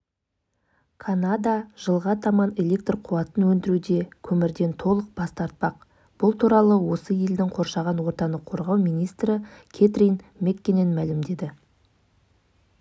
гөрі металл конструкторлармен жұмыс жасау ыңғайлы дейді ол жоба польшаның краков университетінде таныстырылды жас ғалым